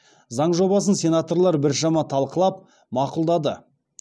заң жобасын сенаторлар біршама талқылап мақұлдады